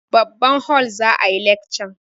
Babban hol za a yi lekcan.